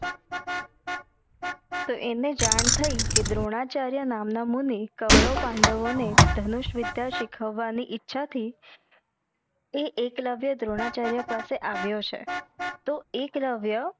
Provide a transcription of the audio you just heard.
તો એને જાણ થઈ કે દ્રોણાચાર્ય નામ ના મુની કવરવ પાંડવો ને ધનુષ વિધ્ય સીખવવા ની ઇચ્છા થી એ એકલવ્ય દ્રોણાચાર્ય પાસે આવ્યો છે તો એકલવ્ય